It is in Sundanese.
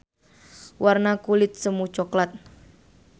Warna kulit semu coklat.